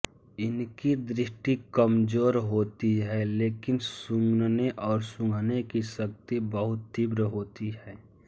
इनकी दृष्टि कमज़ोर होती है लेकिन सुनने और सूँघने की शक्ति बहुत तीव्र होती है